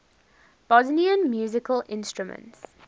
bosnian musical instruments